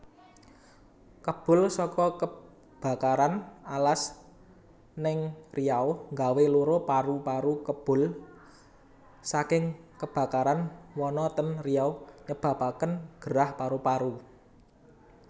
Kebul soko kebakaran alas ning Riau nggawe loro paru paru Kebul saking kebakaran wana ten Riau nyebabaken gerah paru paru